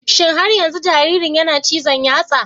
Shin har yanzu jaririn yana cizon yatsa?